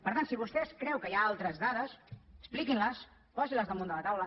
per tant si vostè creu que hi ha altres dades expliquin les posi les damunt de la taula